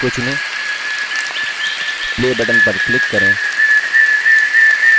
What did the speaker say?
दूसरे animation को चुनें play button पर click करें